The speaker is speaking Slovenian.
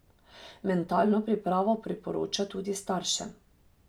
Mentalno pripravo priporoča tudi staršem.